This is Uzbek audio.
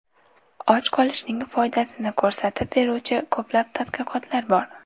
Och qolishning foydasini ko‘rsatib beruvchi ko‘plab tadqiqotlar bor.